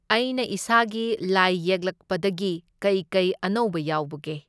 ꯑꯩꯅ ꯏꯁꯥꯒꯤ ꯂꯥꯏ ꯌꯦꯛꯂꯛꯄꯗꯒꯤ ꯀꯩ ꯀꯩ ꯑꯅꯧꯕ ꯌꯥꯎꯕꯒꯦ?